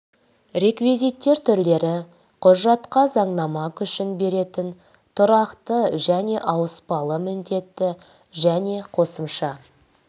реквизиттер түрлері құжатқа заңнама күшін беретін тұрақты және ауыспалы міндетті және қосымша